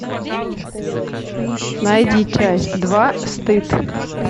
найди часть два стыд